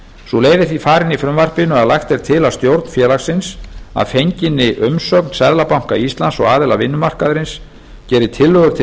sú leið er því farin í frumvarpinu að lagt er til að stjórn félagsins að fenginni umsögn seðlabanka íslands og aðila vinnumarkaðarins geri tillögu til